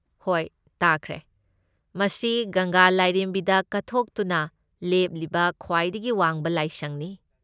ꯍꯣꯏ ꯇꯥꯈ꯭ꯔꯦ꯫ ꯃꯁꯤ ꯒꯪꯒꯥ ꯂꯥꯏꯔꯦꯝꯕꯤꯗ ꯀꯠꯊꯣꯛꯇꯨꯅ ꯂꯦꯞꯂꯤꯕ ꯈ꯭ꯋꯥꯏꯗꯒꯤ ꯋꯥꯡꯕ ꯂꯥꯏꯁꯪꯅꯤ꯫